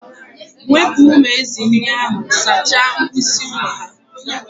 Wepụ umu ezị́ ndị ahụ sachaa mkpịsị ụlọ ha!.